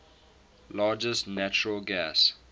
largest natural gas